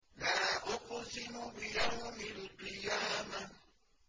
لَا أُقْسِمُ بِيَوْمِ الْقِيَامَةِ